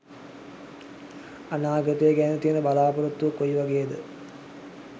අනාගතය ගැන තියෙන බලා‍පොරොත්තුව කොයි වගේද?